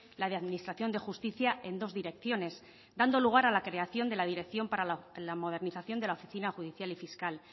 la de administración de justicia en dos direcciones dando lugar a la creación de la dirección para la modernización de la oficina judicial y fiscal